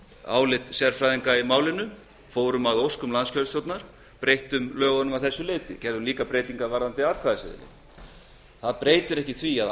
álit sérfræðinga í málinu fórum að óskum landskjörstjórnar við breyttum lögunum að þessu leyti og gerðum líka breytingar varðandi atkvæðaseðilinn það breytir því ekki að